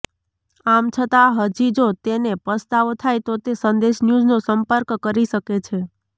આમછતાં હજી જો તેને પસ્તાવો થાય તો તે સંદેશન્યૂઝનો સંપર્ક કરી શકે છે